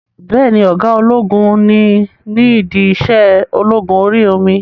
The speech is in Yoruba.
Bẹ́ẹ̀ni, ọ̀gá ológun ni ní ìdí iṣẹ́ ológun orí omi?